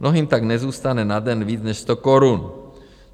Mnohým tam nezůstane na den víc než sto korun.